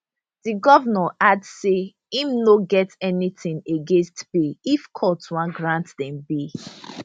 di govnor add say im no get anytin against bail if court wan grant dem bail